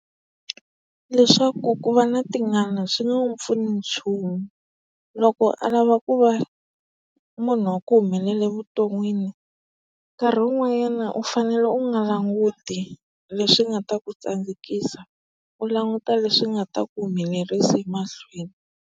Leswaku ku va na tingana swi nge n'wi pfuna hi nchumu. Loko a lava ku va munhu wa ku humelela vuton'wini, nkarhi wun'wanyana u fanele u nga languti leswi nga ta ku tsandzekisa, u languta leswi nga ta ku humelerisa emahlweni.